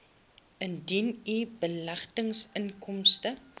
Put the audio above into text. indien u beleggingsinkomste